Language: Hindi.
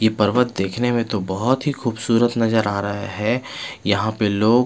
ये पर्वत देखने में तो बहोत ही खुबसूरत नजर आ रहा है यहाँ पर लोग --